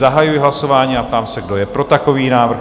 Zahajuji hlasování a ptám se, kdo je pro takový návrh?